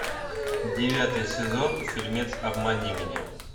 девятый сезон фильмец обмани меня